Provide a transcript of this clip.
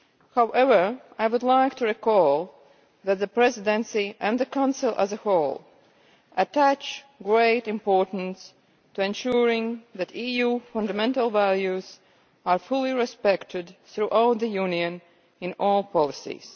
However, I would like to recall that the Presidency, and the Council as a whole, attaches great importance to ensuring that EU fundamental values are fully respected throughout the Union in all policies.